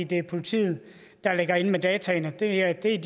det er politiet der ligger inde med dataene de er